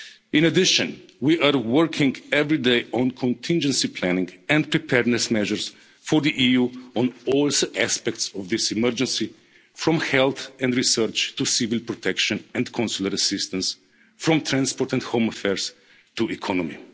group. In addition, we are working every day on contingency planning and preparedness measures for the EU on all aspects of this emergency, from health and research to civil protection and consular assistance, from transport and home affairs to the